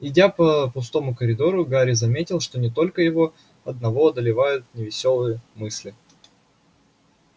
идя по пустому коридору гарри заметил что не только его одного одолевают невесёлые мысли